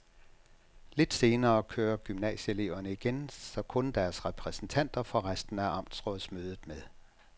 Lidt senere kører gymnasieeleverne igen, så kun deres repræsentanter får resten af amtsrådsmødet med.